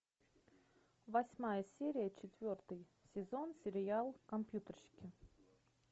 восьмая серия четвертый сезон сериал компьютерщики